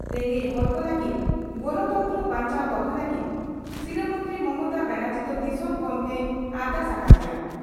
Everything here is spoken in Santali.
"ᱨᱮᱸᱜᱮᱡ ᱦᱚᱲ ᱠᱚ ᱞᱟᱹᱜᱤᱫ ᱜᱚᱱᱚᱛᱚᱱᱛᱨᱚ ᱵᱟᱧᱪᱟᱣ ᱫᱚᱦᱚ ᱞᱟᱹᱜᱤᱫ ᱥᱤᱨᱟᱹ ᱢᱚᱱᱛᱨᱤ ᱢᱚᱢᱚᱛᱟ ᱵᱟᱱᱟᱨᱡᱤ ᱫᱚ ᱫᱤᱥᱚᱢ ᱜᱚᱢᱠᱮᱭ ᱟᱨᱫᱟᱥ ᱟᱠᱟ ᱫᱮᱭᱟ ᱾